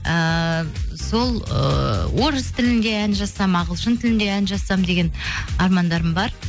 ііі сол ыыы орыс тілінде ән жазсам ағылшын тілінде ән жазсам деген армандарым бар